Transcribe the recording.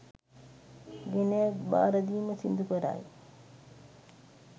ගෙනැවිත් භාරදීම සිදුකරයි